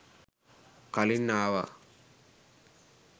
කලින් ආවා